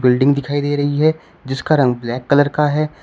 Building दिखाई दे रही है जिसका रंग ब्लैक कलर का है।